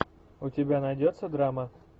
у тебя найдется драма